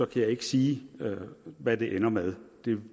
kan jeg ikke sige hvad det ender med